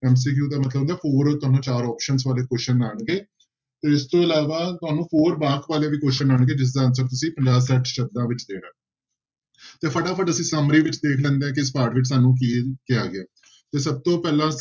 MCQ ਦਾ ਮਤਲਬ ਹੁੰਦਾ ਤੁਹਾਨੂੰ ਚਾਰ options ਵਾਲੇ question ਆਉਣਗੇ, ਇਸ ਤੋਂ ਇਲਾਵਾ ਤੁਹਾਨੂੰ four ਵਾਕ ਵਾਲੇ ਵੀ question ਆਉਣਗੇ, ਜਿਸਦਾ answer ਤੁਸੀਂ ਪੰਜਾਹ ਛੱਠ ਸ਼ਬਦਾਂ ਵਿੱਚ ਦੇਣਾ ਤੇ ਫਟਾਫਟ ਅਸੀਂ summary ਵਿੱਚ ਦੇਖ ਲੈਂਦੇ ਹਾਂ ਕਿ ਇਸ ਪਾਠ ਵਿੱਚ ਸਾਨੂੰ ਕੀ ਕਿਹਾ ਗਿਆ ਹੈ, ਤੇ ਸਭ ਤੋਂ ਪਹਿਲਾਂ